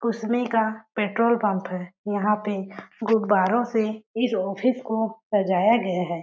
कुसमे का petrol pump है। यहाँ पे गुब्बारों से इस ऑफिस को सजाया गया है।